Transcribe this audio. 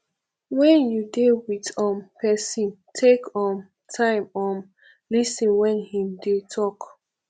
when you dey with um person take um time um lis ten when im dey talk